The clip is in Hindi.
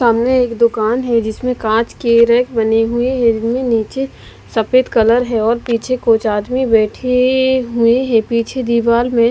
सामने एक दुकान हैजिसमें कांच के रैक बने हुए है जिसमें नीचे सफेद कलर हैऔर पीछे कुछ आदमी बेठे ए हुए है पीछे दीवार में---